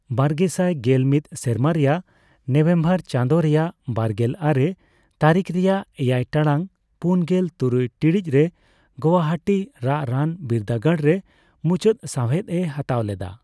ᱵᱟᱨᱜᱮᱥᱟᱭ ᱜᱮᱞᱢᱤᱛ ᱥᱮᱨᱢᱟ ᱨᱮᱭᱟᱭ ᱱᱚᱤᱵᱷᱮᱢᱵᱚᱨ ᱪᱟᱱᱫᱚ ᱨᱮᱭᱟᱜ ᱵᱟᱨᱜᱮᱞ ᱟᱨᱮ ᱛᱟᱨᱤᱠ ᱨᱮᱭᱟᱜ ᱮᱭᱟᱭ ᱴᱟᱲᱟᱝ ᱯᱩᱱᱜᱮᱞ ᱛᱩᱨᱩᱭ ᱴᱤᱲᱤᱡ ᱨᱮ ᱜᱚᱣᱟᱦᱟᱴᱤ ᱨᱟᱜ ᱨᱟᱱ ᱵᱤᱨᱫᱟᱹ ᱜᱟᱲ ᱨᱮ ᱢᱩᱪᱟᱹᱫ ᱥᱣᱦᱮᱫ ᱮ ᱦᱟᱛᱟᱣ ᱞᱮᱫᱟ